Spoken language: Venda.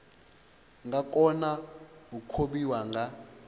nga kona u kavhiwa nga